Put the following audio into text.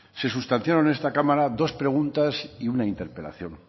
se sustanciaron en esta cámara dos preguntas y una interpelación